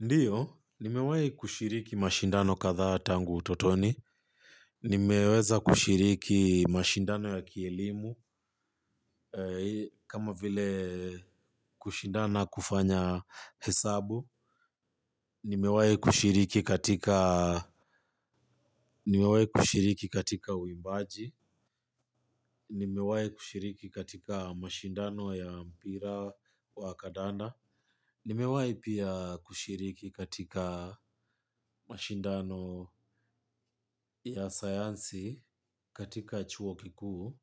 Ndiyo, nimewahi kushiriki mashindano kadhaa tangu utotoni. Nimeweza kushiriki mashindano ya kielimu, kama vile kushindana kufanya hesabu. Nimewahi kushiriki katika uimbaji. Nimewahi kushiriki katika mashindano ya mpira wa kadanda. Nimewahi pia kushiriki katika mashindano ya sayansi katika chuo kikuu.